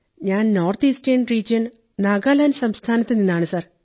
ഞാൻ north eastern region Nagaland സംസ്ഥാനത്തുനിന്നാണ് sir